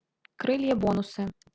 крылья бонусы